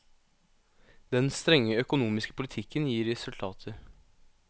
Den strenge økonomiske politikken gir resultater.